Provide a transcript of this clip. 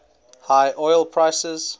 high oil prices